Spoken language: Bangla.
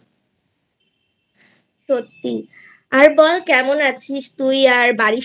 সত্যি আর বল কেমন আছিস তুই? আর বাড়ির